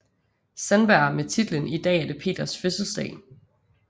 Sandberg med titlen I Dag er det Peters Fødselsdag